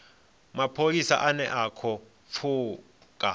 mapholisa ane a khou pfuka